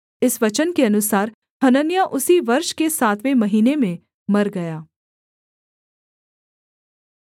इस वचन के अनुसार हनन्याह उसी वर्ष के सातवें महीने में मर गया